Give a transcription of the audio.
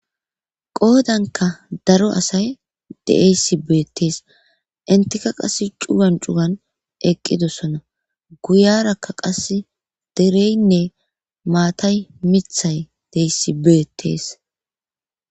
Qoodanka daro asay de'essi beettees intika qass cugan cugan eqqidosona guyarakka qas dereynne maatay mithay de'essi beettees.